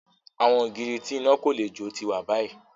Awọn ogiri ti ina ko le jo ti wa bayi